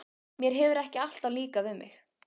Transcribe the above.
Mér hefur ekki alltaf líkað við mig.